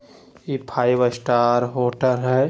इ five star hotel है।